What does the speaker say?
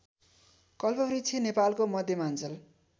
कल्पवृक्ष नेपालको मध्यमाञ्चल